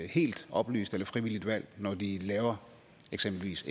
helt oplyst eller frivilligt valg når de eksempelvis